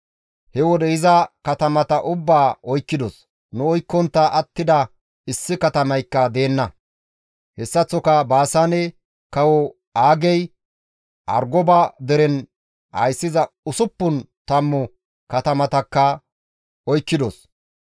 He wode iza katamata ubbaa oykkidos; nu oykkontta attida issi katamaykka deenna; hessaththoka Baasaane kawo Aagey Argoba deren ayssiza usuppun tammu katamatakka oykkidos.